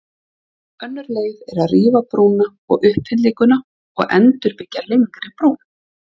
Önnur leið er að rífa brúna og uppfyllinguna og endurbyggja lengri brú.